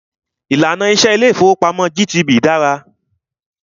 Ìlànà iṣẹ ilé ìfọwọ́pamo GTB dára.